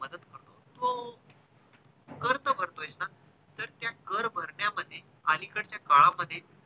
त्या कर भरण्यामधी अलीकडचा काळामध्ये